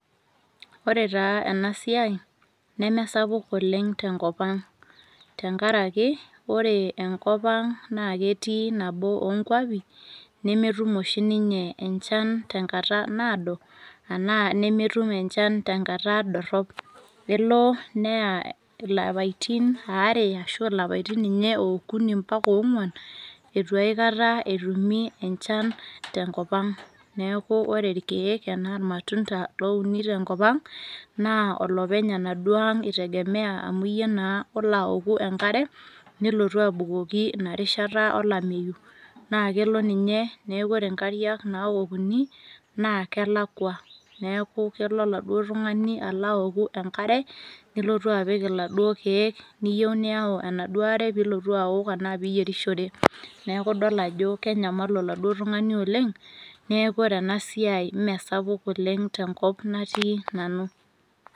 ore taa ena siai neme sapuk oleng tenkop ang'.tenkaraki ore enkop ang naa ketii nabo oo nkuapi nemetum oshi ninye enchan tenkata naado. anaa nemetum enchan tenakata dorop. elo neya ilapaitin aare ashu ilapaitin okuni mpaka oong'uan, eitu aekata etumi enchan tenkop ang'.neku ore irkeek anaa ilmatunda loouni tenkop ang naa olopeny enaduoo ang' itegemea amu iyie naa olo aoku enkare nilotu abukoki ina rishata olameyu. naa kelo ninye neeku ore nkariak naokuni naa kelakua neku kulo oladuoo tungani alo aoku enkare, nelotu apik iladuoo keek. neyieu niyau enaduoo are pee ilotu aok arashu pee iyierishore. neku idol ajo kenyamalu oladuoo tungani oleng neeku ore ena siai mme sapuk oleng tenkop natii nanu.